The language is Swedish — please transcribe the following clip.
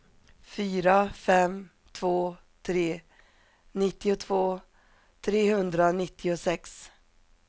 fyra fem två tre nittiotvå trehundranittiosex